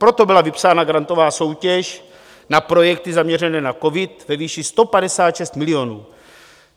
Proto byla vypsána grantová soutěž na projekty zaměřené na covid ve výši 156 milionů.